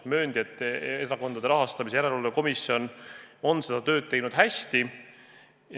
Mööndi, et Erakondade Rahastamise Järelevalve Komisjon on oma tööd teinud hästi.